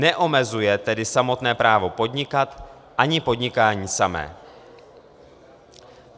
Neomezuje tedy samotné právo podnikat, ani podnikání samé.